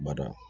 Bada